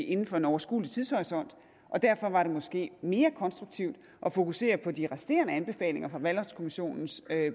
inden for en overskuelig tidshorisont derfor var det måske mere konstruktivt at fokusere på de resterende anbefalinger fra valgretskommissionens